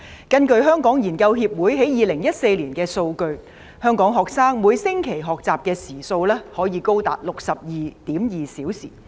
根據香港研究協會於2014年的數據，香港學生每星期的學習時數，可以高達 62.2 小時。